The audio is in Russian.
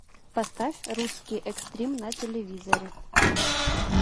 поставь русский экстрим на телевизоре